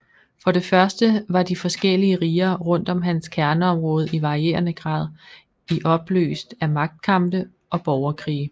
For det første var de forskellige riger rundt om hans kerneområde i varierende grad i opløst af magtkampe og borgerkrige